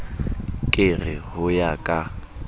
ke re ho ya ka